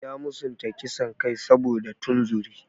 Ya musanta kisan kai saboda tunzuri.